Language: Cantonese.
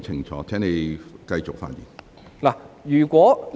請你繼續發言。